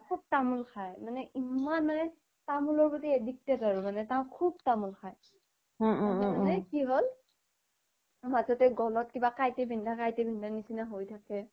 খোব তামুল খাই ইমান মানে তামুল প্ৰতি addicted আৰু মানে খোব তামুল খাই তাৰ মানে কি হ্'ল মাজতে গ্'ল্ত কিবা কাইতে বিন্ধা কাইতে বিন্ধা হয় থাকে